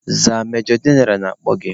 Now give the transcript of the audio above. Zaa majọ jeneral na-akpọ gị!